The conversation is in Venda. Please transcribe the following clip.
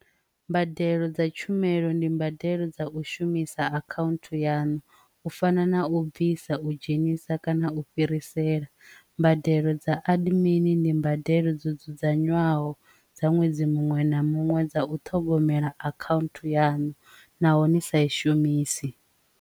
Mbadelo dza tshumelo ndi mbadelo dza u shumisa account yanu u fana na u bvisa u dzhenisa kana u fhirisela mbadelo dza aḓi mini ndi mbadelo dzo dzudzanywaho dza ṅwedzi muṅwe na muṅwe dza u ṱhogomela account yanu nahone sa i shumisi.